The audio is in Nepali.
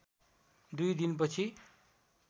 दुई दिनपछि